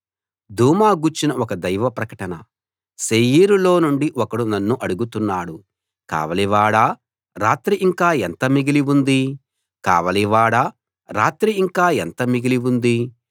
దూమా గూర్చిన ఒక దైవ ప్రకటన శేయీరు లో నుండి ఒకడు నన్ను అడుగుతున్నాడు కావలివాడా రాత్రి ఇంకా ఎంత మిగిలి ఉంది కావలివాడా రాత్రి ఇంకా ఎంత మిగిలి ఉంది